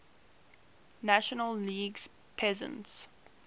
national league pennants